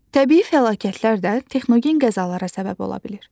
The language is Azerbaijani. Təbii fəlakətlər də texnogen qəzalara səbəb ola bilir.